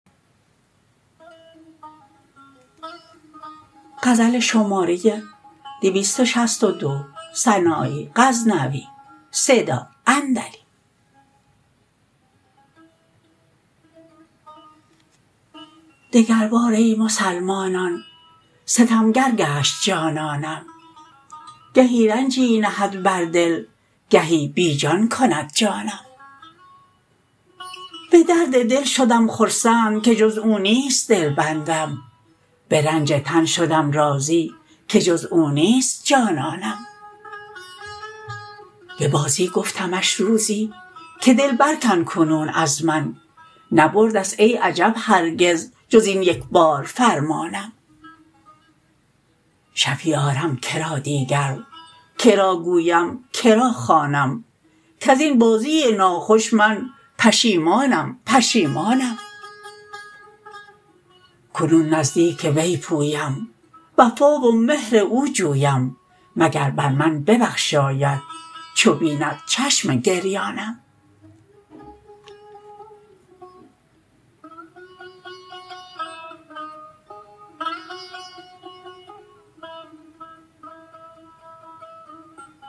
دگر بار ای مسلمانان ستمگر گشت جانانم گهی رنجی نهد بر دل گهی بی جان کند جانم به درد دل شدم خرسند که جز او نیست دلبندم به رنج تن شدم راضی که جز او نیست جانانم به بازی گفتمش روزی که دل بر کن کنون از من نبردست ای عجب هرگز جزین یکبار فرمانم شفیع آرم که را دیگر که را گویم که را خوانم کزین بازی ناخوش من پشیمانم پشیمانم کنون نزدیک وی پویم وفا و مهر او جویم مگر بر من ببخشاید چو بیند چشم گریانم